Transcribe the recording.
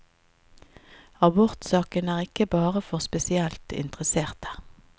Abortsaken er ikke bare for spesielt interesserte.